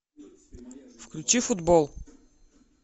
включи футбол